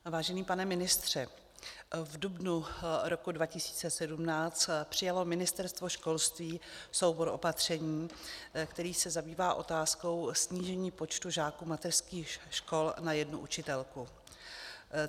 Vážený pane ministře, v dubnu roku 2017 přijalo Ministerstvo školství soubor opatření, který se zabývá otázkou snížení počtu žáků mateřských škol na jednu učitelku.